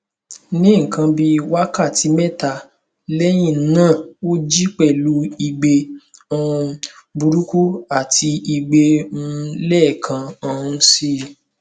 ní nkan bíi wákàtí mẹta lẹyìn náà ó jí pẹlú ìgbẹ um burúkú àti ìgbẹ um lẹẹkan um si